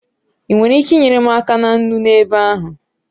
Ị nwere ike inyere m aka na nnu n'ebe ahụ?